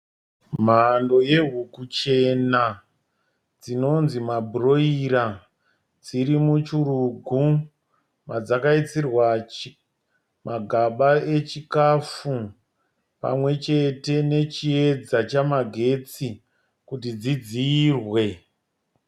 Mhando yehuku chena dzinonzi mabhuroira dziri muchirugu madzakaisirwa magaba echikafu pamwe chete nechiedza chamagetsi kuti dzidziyirwe.